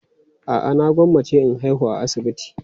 A'a, na gwammace in haihu a asibiti.